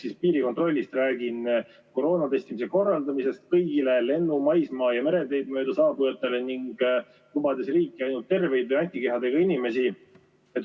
Räägin piirikontrollist, koroonatestimise korraldamisest kõigile lennu-, maismaa- ja mereteid mööda saabujatele, lubades riiki ainult terveid või antikehadega inimesi.